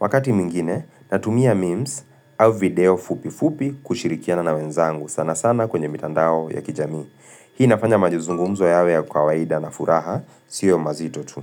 Wakati mwingine, natumia memes au video fupi fupi kushirikiana na wenzangu sana sana kwenye mitandao ya kijamii. Hii nafanya mazungumzo yawe ya kawaida na furaha, sio mazito tu.